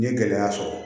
N ye gɛlɛya sɔrɔ